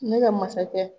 Ne ka masakɛ